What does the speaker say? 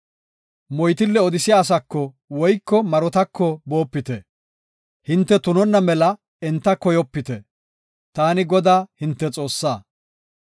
“Moytille odisiya asaako woyko marotako boopite; hinte tunonna mela enta koyopite. Taani Godaa, hinte Xoossaa.